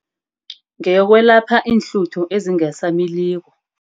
Ngeyokwelapha iinhluthu ezingasamiliko.